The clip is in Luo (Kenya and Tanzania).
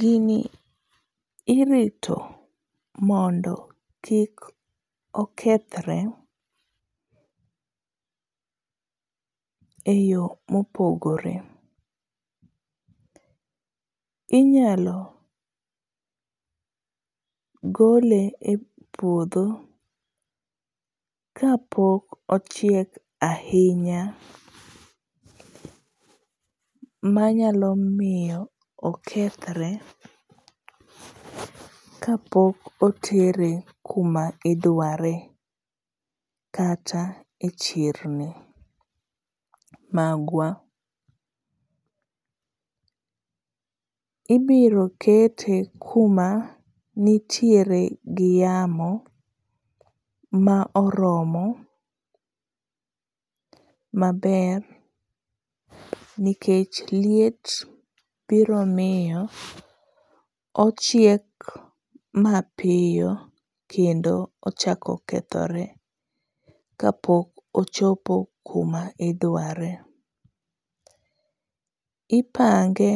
Gini irito mondo kik okethre eyo mopogore. Inyalo gole e puodho kapok ochiek ahinya manyalo miyo okethre kapok otere kuma idware kata e chirni magwa. Ibiro kete kuma nitiere gi yamo ma oromo maber nikech liet biro miyo ochiek mapiyo kendo ochako kethore kapok ochopo kuma idware. Ipange